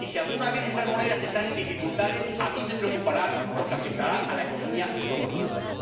Y, si alguna vez esas monedas están en dificultades, a mí me preocupará, porque afectarán a la economía de todos nosotros.